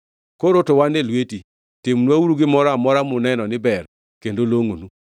Koro to wan e lweti. Timnwauru gimoro amora muneno ni ber kendo longʼonu.”